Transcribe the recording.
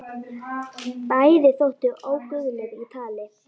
Bæði þóttu óguðleg í tali.